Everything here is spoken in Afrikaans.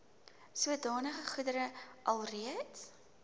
sodanige goedere alreeds